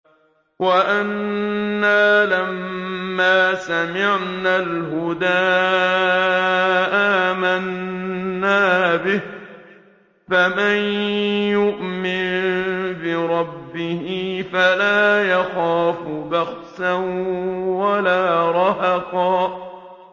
وَأَنَّا لَمَّا سَمِعْنَا الْهُدَىٰ آمَنَّا بِهِ ۖ فَمَن يُؤْمِن بِرَبِّهِ فَلَا يَخَافُ بَخْسًا وَلَا رَهَقًا